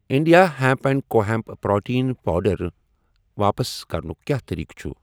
انِنٛڈیا hemp and co hemp protein powder واپس کرنُک کیٛاہ طریٖقہٕ چھ؟